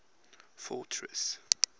fortress